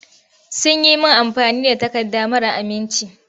Sun yi min amfani da takarda mara aminci.